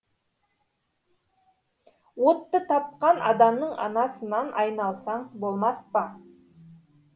отты тапқан адамның анасынан айналсаң болмас па